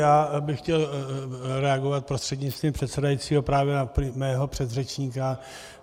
Já bych chtěl reagovat prostřednictvím předsedajícího právě na mého předřečníka.